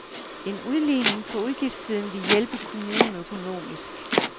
En udligning på udgiftssiden ville hjælpe kommunen økonomisk.